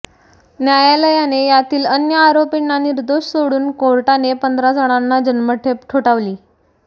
न्यायालयाने यातील अन्य आरोपींना निर्दोष सोडून कोर्टाने पंधरा जणांना जन्मठेप ठोठावली